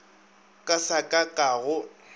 ka sa ka ga go